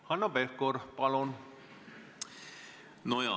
Hanno Pevkur, palun!